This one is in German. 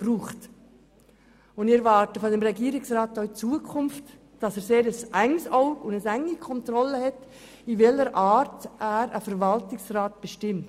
Wir erwarten vom Regierungsrat, dass er auch in Zukunft ein sehr scharfes Auge hat und eine enge Kontrolle betreibt, in welcher Art er einen Verwaltungsrat bestimmt.